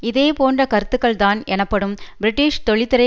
இதே போன்ற கருத்துக்கள்தான் எனப்படும் பிரிட்டிஷ் தொழில்துறை